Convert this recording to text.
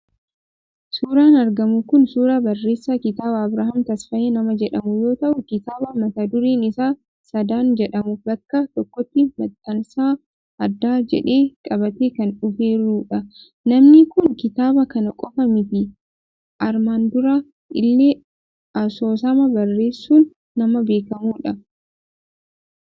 Suuraan argamu kun suuraa barreessaa kitaabaa Abiraam Tasfaayee nama jedhamuu yoo ta'u, kitaaba mata dureen isaa sadan jedhamu bakka tokkotti maxxansa addaa jedhee qabatee kan dhufeerudha. Namni kun kitaaba kana qofaa miti armaan dura illee asoosama barreessuun nama beekamudha.